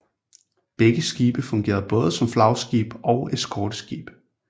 Begge skibe fungerede både som flagskib og eskorteskib